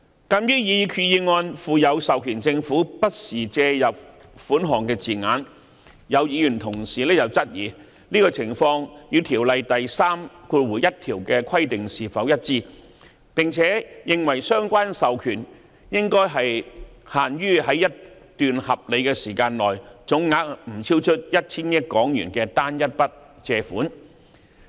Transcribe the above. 鑒於擬議決議案附有授權政府"不時"借入款項的字眼，有議員同事質疑這種情況與條例第31條的規定是否一致，並認為相關授權應限於在一段合理時間內總額不超出 1,000 億港元的單一筆借款。